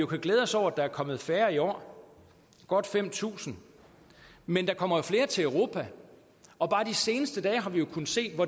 glæde os over at der er kommet færre i år godt fem tusind men der kommer flere til europa og bare de seneste dage har vi jo kunnet se